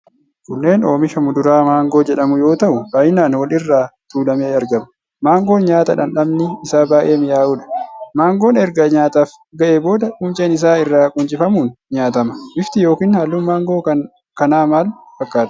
Kunneen oomisha muduraa maangoo jedhamu yoo ta'u, baay'inaan wal irra tuulamee argama. Maangoon nyaata dhandhamni isaa baay'ee mi'aayudha. Maangoon erga nyaataaf ga'ee booda qunceen isaa irraa quncifamuun nyaatama. Bifti yookiin halluun maangoo kana maal fakkaata?